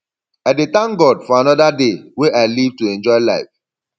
i dey thank god for anoda day wey i live to enjoy life